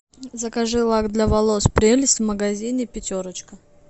закажи лак для волос прелесть в магазине пятерочка